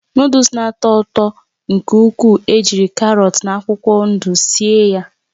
Nụ́dúls na-atọ ụtọ nke ukwuu ejiri karọt na akwụkwọ ndụ síé ya